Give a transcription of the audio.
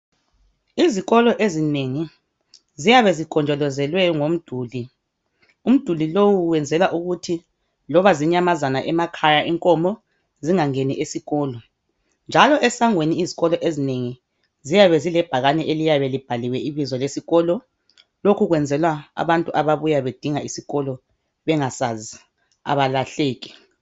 Izikolo ezinengi ziyabe zigonjolozelwe ngomduli umduli lowu wenzelwa ukuthi loba zinyamazana emakhaya inkomo zingangeni esikolo njalo esangweni izikolo ezinengi ziyabe zilebhakane eliyabe libhaliwe ibizo lesikolo lokhu kwenzelwa abantu ababuya bedinga isikolo bengasazi abalahleki.